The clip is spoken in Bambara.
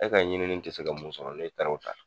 E ka ɲinini ti se ka mun sɔrɔ ne taar'o ta